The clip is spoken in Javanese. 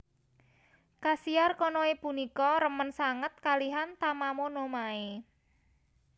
Kasiar Konoe punika remen sanget kalihan Tamamo no Mae